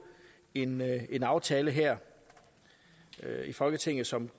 en aftale her i folketinget som